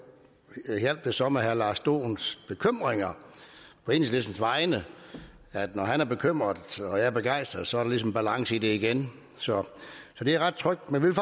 hjalp det så med herre lars dohns bekymringer på enhedslistens vegne når han er bekymret og jeg er begejstret så er der ligesom balance i det igen så det er ret trygt men vi vil